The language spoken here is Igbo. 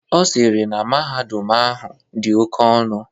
Ọ sịrị na mahadum ahụ dị oke ọnụ.